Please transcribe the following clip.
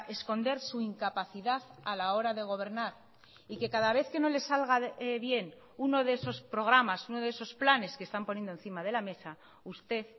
esconder su incapacidad a la hora de gobernar y que cada vez que no les salga bien uno de esos programas uno de esos planes que están poniendo encima de la mesa usted